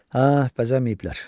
Hə, bəzəməyiblər.